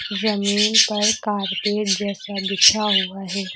जमीन पर कारपेट जैसा बिछा हुआ है।